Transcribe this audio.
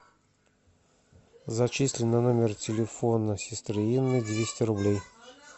зачисли на номер телефона сестры инны двести рублей